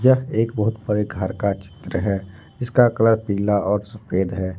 यह एक बहुत बड़े घर का चित्र है जिसका कलर पीला और सफेद है।